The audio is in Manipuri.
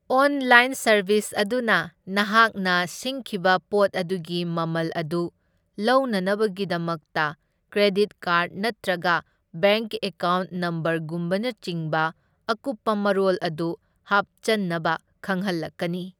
ꯑꯣꯟꯂꯥꯏꯟ ꯁꯔꯚꯤꯁ ꯑꯗꯨꯅ ꯅꯍꯥꯛꯅ ꯁꯤꯡꯈꯤꯕ ꯄꯣꯠ ꯑꯗꯨꯒꯤ ꯃꯃꯜ ꯑꯗꯨ ꯂꯧꯅꯅꯕꯒꯤꯗꯃꯛꯇ ꯀ꯭ꯔꯦꯗꯤꯠ ꯀꯥꯔꯗ ꯅꯠꯇ꯭ꯔꯒ ꯕꯦꯡꯛ ꯑꯦꯀꯥꯎꯟꯠ ꯅꯝꯕꯔꯒꯨꯝꯕꯅꯆꯤꯡꯕ ꯑꯀꯨꯞꯄ ꯃꯔꯣꯜ ꯑꯗꯨ ꯍꯥꯞꯆꯟꯅꯕ ꯈꯪꯍꯜꯂꯛꯀꯅꯤ꯫